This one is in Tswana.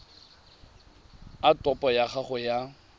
a topo ya gago ya